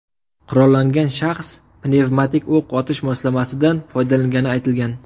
Qurollangan shaxs pnevmatik o‘q otish moslamasidan foydalangani aytilgan.